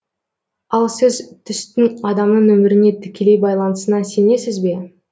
ал сіз түстің адамның өміріне тікелей байланысына сенесіз бе